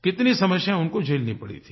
कितनी समस्या उनको झेलनी पड़ी थी